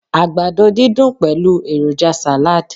àgbàdo didun pẹlu eroja salad